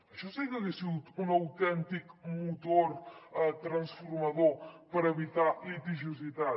això sí que hagués sigut un autèntic motor transformador per evitar litigiositat